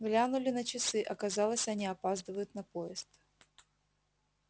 глянули на часы оказалось они опаздывают на поезд